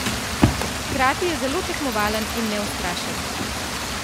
Hkrati je zelo tekmovalen in neustrašen.